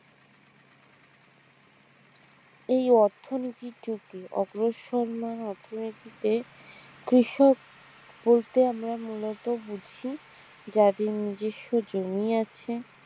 এই অর্থনীতির যুগে অগ্রসরমান অর্থনীতিতে কৃষক বলতে আমরা মূলত বুঝি যাদের নিজস্ব জমি আছে